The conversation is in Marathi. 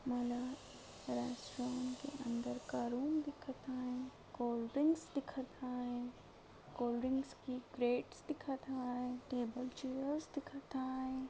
मला रेस्टोरंट का अंदर का रूम दिखत हाय कोल्डड्रींक्स दिखत हाय कोल्डड्रींक्स की प्लेट्स दिखत हाय टेबल्स चेअर्स दिखत हाय.